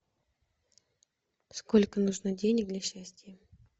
сколько нужно денег для счастья